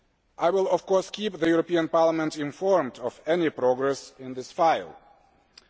I will, of course, keep the European Parliament informed of any progress on this matter.